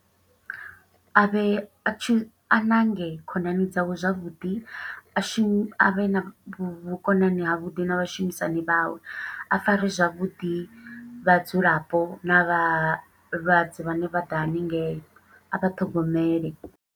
A vhe a tshi, a ṋange khonani dzawe zwavhuḓi, a shumi a vhe na vhukonani ha vhuḓi na vhashumisani vhawe. A fare zwavhuḓi vhadzulapo, na vhalwadze vhane vha ḓa haningei, a vha ṱhogomele.